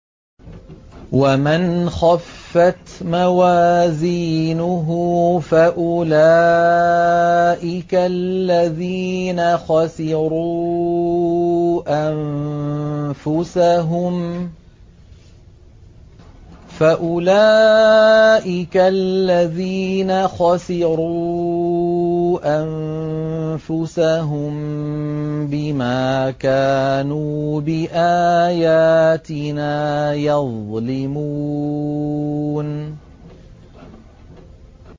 وَمَنْ خَفَّتْ مَوَازِينُهُ فَأُولَٰئِكَ الَّذِينَ خَسِرُوا أَنفُسَهُم بِمَا كَانُوا بِآيَاتِنَا يَظْلِمُونَ